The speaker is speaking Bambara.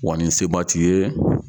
Wa seba t'i ye